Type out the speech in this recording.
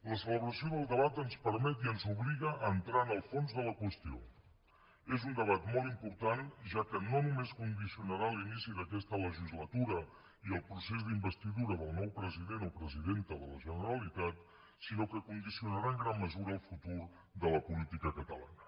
la celebració del debat ens permet i ens obliga a entrar en el fons de la qüestió és un debat molt important ja que no només condicionarà l’inici d’aquesta legislatura i el procés d’investidura del nou president o presidenta de la generalitat sinó que condicionarà en gran mesura el futur de la política catalana